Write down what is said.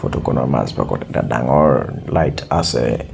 ফটোখনৰ মাজভাগত এটা ডাঙৰ লাইট আছে।